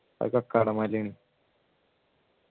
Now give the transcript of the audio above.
അത് കക്കാടൻ മലയാണ്